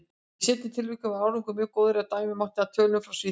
Í seinna tilvikinu var árangur mjög góður, ef dæma mátti af tölum frá Svíþjóð.